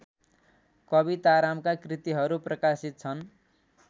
कवितारामका कृतिहरू प्रकाशित छन्